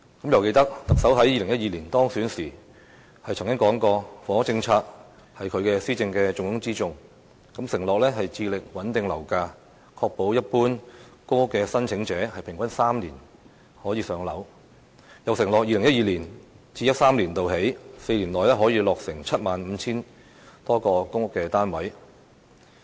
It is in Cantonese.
猶記得特首在2012年當選時曾經說過，房屋政策是他施政的重中之重，承諾穩定樓價、確保一般公屋申請者平均3年可以"上樓"，又承諾自 2012-2013 年度起的4年內可以落成 75,000 多個公屋單位。